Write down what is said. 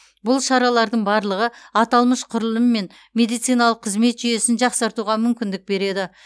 бұл шаралардың барлығы аталмыш құрылым мен медициналық қызмет жүйесін жақсартуға мүмкіндік береді